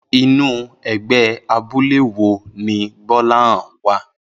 Inú e̩gbé̩ abúlé wo ni Gbó̩láhàn wa?